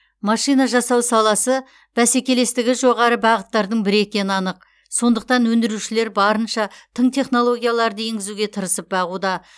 машина жасау саласы бәсекелестігі жоғары бағыттардың бірі екені анық сондықтан өндірушілер барынша тың технологияларды енгізуге тырысып бағуда